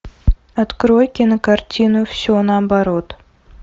открой кинокартину все наоборот